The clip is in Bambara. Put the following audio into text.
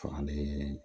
Fagalen